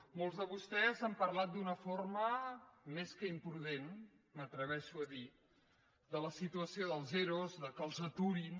molts de vostès han parlat d’una forma més que imprudent m’atreveixo a dir de la situació dels ero que els aturin